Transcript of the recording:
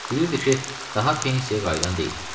Bilirdi ki, daha pensiyaya qayıdan deyiləm.